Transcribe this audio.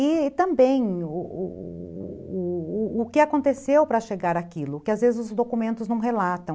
E também o o o que aconteceu para chegar aquilo, que às vezes os documentos não relatam.